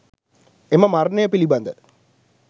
එම මරණය පිළිබඳ